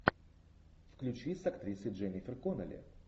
включи с актрисой дженнифер коннелли